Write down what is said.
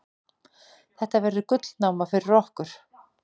Þetta verður gullnáma fyrir okkur.